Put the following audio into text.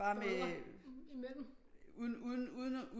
Bare med uden uden